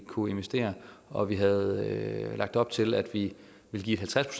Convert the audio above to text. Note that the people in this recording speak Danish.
kunne investere og vi havde lagt op til at vi ville give et halvtreds